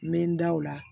N bɛ n da o la